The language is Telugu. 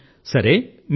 అవును సర్